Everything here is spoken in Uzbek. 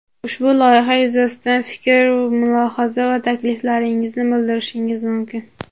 Ushbu loyiha yuzasidan fikr-mulohaza va takliflaringizni bildirishingiz mumkin.